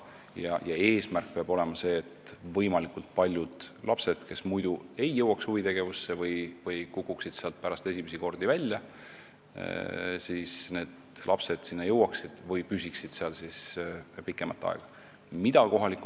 Ja eesmärk peab olema see, et võimalikult paljud lapsed, kes muidu ei jõuaks huvitegevuseni või kukuksid sealt pärast esimesi kordi välja, sinna jõuaksid või seal pikemat aega püsiksid.